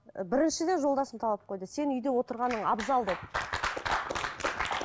і біріншіден жолдасым талап қойды сен үйде отырғаның абзал деді